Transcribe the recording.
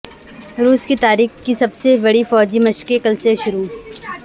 روس کی تاریخ کی سب سے بڑی فوجی مشقیں کل سے شروع